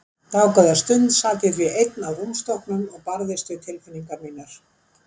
Dágóða stund sat ég því ein á rúmstokknum og barðist við tilfinningar mínar.